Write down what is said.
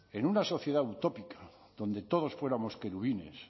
en una sociedad utópica donde todos fuéramos querubines